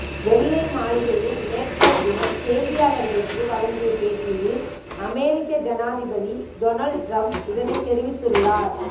வெள்ளை மாளிகையில் நேற்றையதினம் செய்தியாளர்களுக்கு வழங்கிய பேட்டியில் அமெரிக்க ஜனாதிபதி டொனால்ட் டிரம்ப் இதனைத் தெரிவித்துள்ளார்